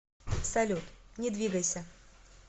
салют не двигайся